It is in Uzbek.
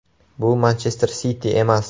Bu “Manchester Siti” emas.